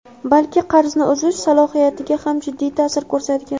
balki qarzni uzish salohiyatiga ham jiddiy ta’sir ko‘rsatgan.